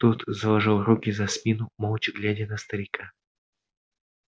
тот заложил руки за спину молча глядя на старика